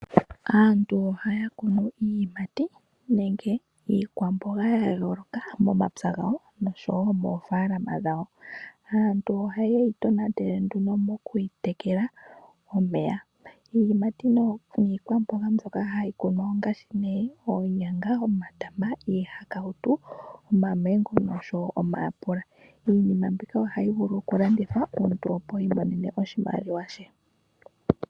Aantu ohaakunu iiyimati nenge iikwambonga yayoloka momapya ngawo, osho woo moofalama dhawo. Aantu ohayeyi tonatele mokwiipa omeya, iiyimati niikwambonga ndjoka hayi kunwa ongaashi, oonyanga, omatama, iihakawutu, omamengo nosho woo omayapula, iinima mbika ohayi vulu okulandithwa omuntu opo iimonene mo oshimaliwa she.